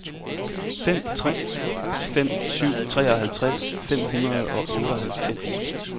fem tre fem syv treoghalvtreds fem hundrede og otteoghalvfems